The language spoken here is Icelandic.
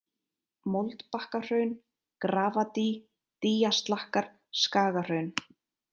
Moldbakkahraun, Grafadý, Dýjaslakkar, Skagahraun